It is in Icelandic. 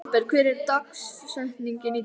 Sveinberg, hver er dagsetningin í dag?